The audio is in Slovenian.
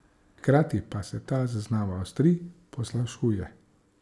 Hkrati pa se ta zaznava ostri, poslabšuje.